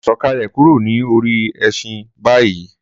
Sọkalẹ kúrò ní orí ẹṣin bayi!